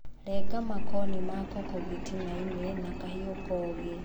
Renga makoni makoko gĩtinainĩ na kahiu kogĩ